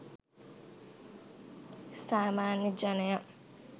සාමාන්‍ය ජනයා